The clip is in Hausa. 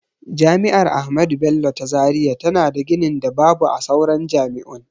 Jami'ar ahmadu bello ta zaria tana da ginin da babu a sauran jami'un.